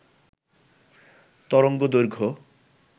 তরঙ্গ দৈর্ঘ্য